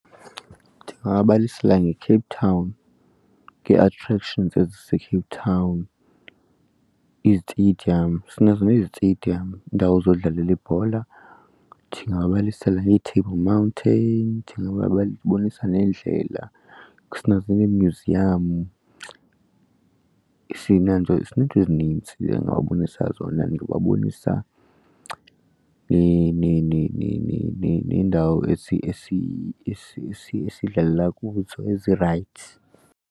Ndingababalisela ngeCape Town ngee-attractions eziseCape Town, izitediyam. Sinazo neziteyidiyam, iindawo zokudlalela ibhola. Ndingaba balisele ngeeTable Mountain babonisa neendlela, sinazo neemyuziyam. Sineento sineento ezinintsi ndingababonisa zona. Ndingababonisa neendawo esidlalela kuzo ezirayithi.